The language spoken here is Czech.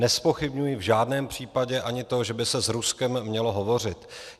Nezpochybňuji v žádném případě ani to, že by se s Ruskem mělo hovořit.